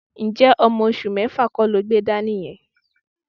Ǹjẹ́ ọmọ oṣù mẹ́fà kọ́ lo gbé dání yẹn?